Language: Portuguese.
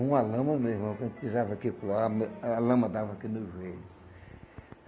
Uma lama mesmo, a la a lama dava aqui no joelho.